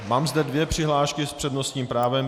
Mám zde dvě přihlášky s přednostním právem.